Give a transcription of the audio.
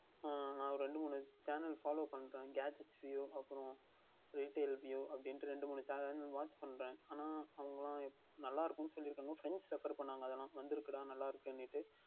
அஹ் இரண்டு மூன்று Channel Follow பண்ணுகிறேன் Gadgets அப்புறம் அப்படி என்று Wait And Review இரண்டு மூன்று Channel வந்து பண்ணுகிறேன் ஆனால் அவர்கள் எல்லாம் நன்றாக இருக்கு என்று சொல்லி இருக்கிறார்கள் Friends Refer பண்ணுவார்கள் அதுஎல்லாம் வந்து இருக்குடா நன்றாக இருக்கின்றது அப்படி என்று